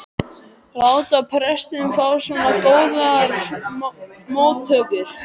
láta prestinn fá svona góðar móttökur.